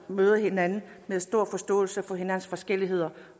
møder hinanden med stor forståelse for hinandens forskelligheder